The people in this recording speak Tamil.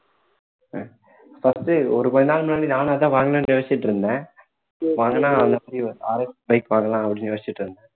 first ஒரு கொஞ்ச நாள் முன்னாடி நானும் அதான் வாங்கலாம்ன்னு யோசிச்சிட்டு இருந்தேன் வாங்குனா RXbike வாங்கலாம் அப்படின்னு யோசிச்சிட்டு இருந்தேன்